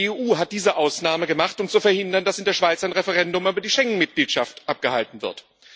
Die EU hat diese Ausnahme gemacht, um zu verhindern, dass in der Schweiz ein Referendum über die Schengenmitgliedschaft abgehalten wird.